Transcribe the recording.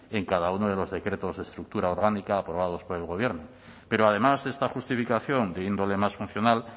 en cada uno de los decretos de estructura orgánica aprobados por el gobierno pero además de esta justificación de índole más funcional